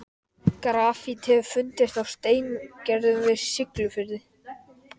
Túlkurinn við hliðina á mér gefur mér þéttingsfast olnbogaskot.